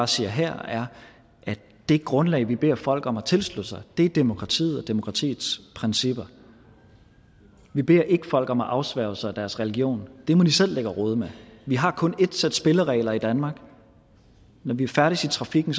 siger her er at det grundlag vi beder folk om at tilslutte sig er demokratiet og demokratiets principper vi beder ikke folk om at afsværge sig deres religion det må de selv ligge og rode med vi har kun ét sæt spilleregler i danmark når vi færdes i trafikken